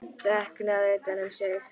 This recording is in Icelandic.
Þreknað utan um sig.